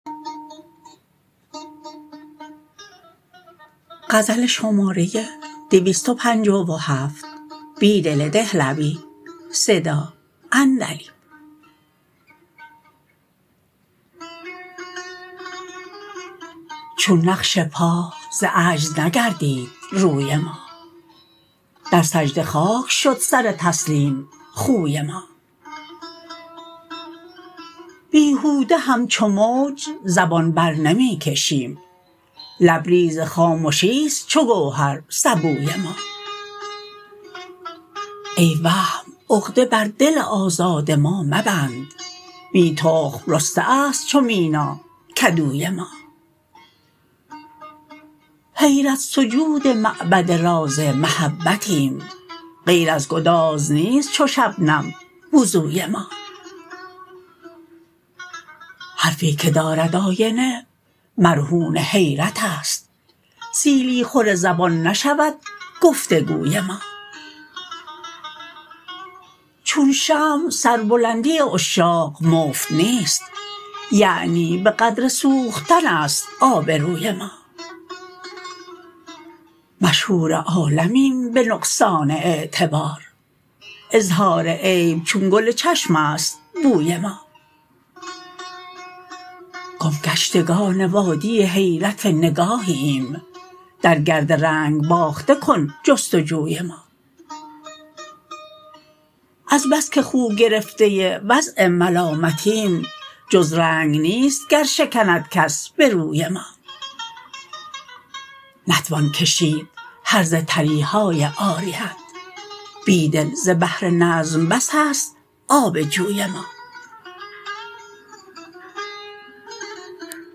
چون نقش پا ز عجز نگردید روی ما در سجده خاک شد سر تسلیم خوی ما بیهوده همچو موج زبان برنمی کشیم لبریز خامشی ست چوگوهر سبوی ما ای وهم عقده بر دل آزاد ما مبند بی تخم رسته است چو میناکدوی ما حیرت سجود معبد راز محبتیم غیر ازگداز نیست چو شبنم وضوی ما حرفی که دارد آینه مرهون حیرت است سیلی خور زبان نشودگفتگوی ما چون شمع سربلندی عشاق مفت نیست یعنی به قدر سوختن است آبروی ما مشهور عالمیم به نقصان اعتبار اظهارعیب چون گل چشم است بوی ما گمگشتگان وادی حیرت نگاهی ایم درگرد رنگ باخته کن جستجوی ما از بس که خوگرفته وضع ملامتیم جزرنگ نیست گرشکندکس به روی ما نتوان کشید هرزه تریهای عاریت بیدل زبحرنظم بس است آب جوی ما